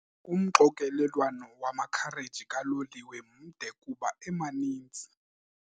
Umxokelelwano wamakhareji kaloliwe mde kuba emaninzi.